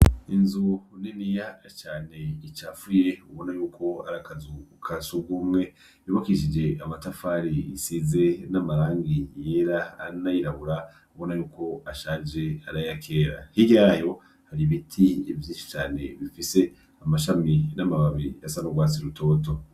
Inzu niniya cane icafuye ubona yuko ari akazu ka sugumwe, yubakishije amatafari, isize n'amarangi yera n'ayirabura ubona yuko ashaje arayakera, hirya yayo hari ibiti vyinshi cane bifise amashami n'amababi asa n'urwatsi rutoto.